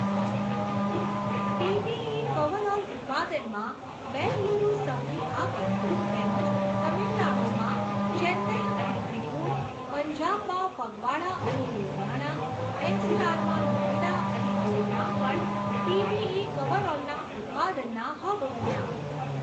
PPE coverall ઉત્પાદનમાં બેંગલુરુ સૌથી આગળ, તેમજ તામિલનાડુમાં ચેન્નઈ અને ત્રિપૂર, પંજાબમાં ફગવાડા અને લુધિયાણા, એનસીઆરમાં નોઇડા અને ગુરુગ્રામ પણ પીપીઈ કવરઓલના ઉત્પાદનના હબ બન્યા.